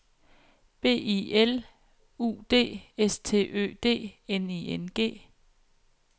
B I L U D S T Ø D N I N G